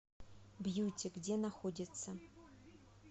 бьюти где находится